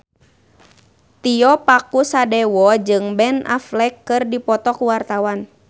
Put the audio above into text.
Tio Pakusadewo jeung Ben Affleck keur dipoto ku wartawan